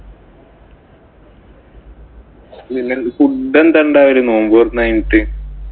food എന്താ ഉണ്ടായിരുന്നു നോമ്പു തുറന്നു കഴിഞ്ഞിട്ട്.